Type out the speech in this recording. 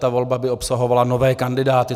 Ta volba by obsahovala nové kandidáty.